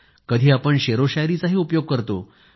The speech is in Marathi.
तर कधी शेरशायरीचा उपयोग करतो